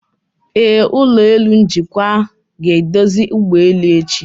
Ee, ụlọ elu njikwa ga-eduzi ụgbọelu echi.